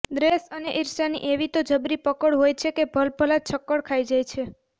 દ્વેષ અને ઈર્ષાની એવી તો જબરી પકડ હોય છે કે ભલભલા છક્કડ ખાઈ જાય છે